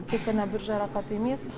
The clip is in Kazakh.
тек қана бір жарақат емес